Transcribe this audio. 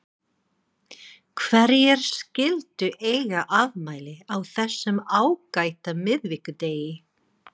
Hverjir skyldu eiga afmæli á þessum ágæta miðvikudegi?